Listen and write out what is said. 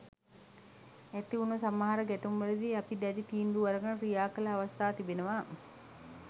ඇති වුණ සමහර ගැටුම්වලදී අපි දැඩි තීන්දු අරගෙන ක්‍රියා කළ අවස්ථා තිබෙනවා.